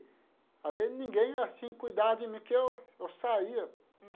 Às vezes ninguém, assim, cuidava de mim, porque eu eu saía.